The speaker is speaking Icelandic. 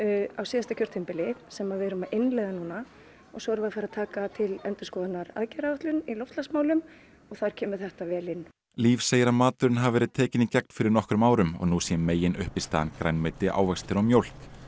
á síðasta kjörtímabili sem við erum að innleiða núna og svo erum við að fara að taka til endurskoðunar aðgerðaáætlun í loftslagsmálum og þar kemur þetta vel inn líf segir að maturinn hafi verið tekinn í gegn fyrir nokkrum árum og nú sé meginuppistaðan grænmeti ávextir og mjólk